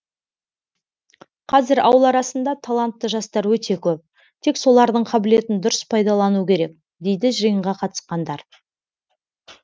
қазір ауыл арасында талантты жастар өте көп тек солардың қабілетін дұрыс пайдалану керек дейді жиынға қатысқандар